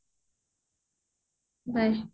bye